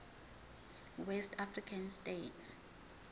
west african states